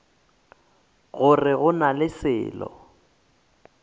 gore go na le selo